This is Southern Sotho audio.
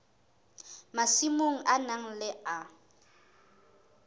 masimong a mang le a